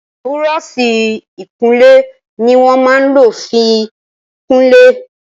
Búrọ̀ọ̀ṣì ìkunlé ní wón má lọ fín kunlẹ.